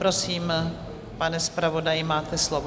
Prosím, pane zpravodaji, máte slovo.